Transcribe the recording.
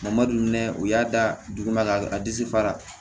Mamadu ne u y'a da dugu ma ka disi fara